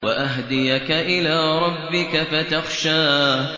وَأَهْدِيَكَ إِلَىٰ رَبِّكَ فَتَخْشَىٰ